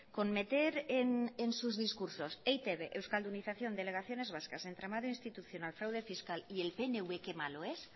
con meter en sus discursos e i te be euskaldunización delegaciones vascas entramado institucional fraude fiscal y el pnv qué malo es